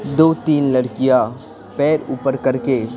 दो-तीन लड़कियां पैर ऊपर करके--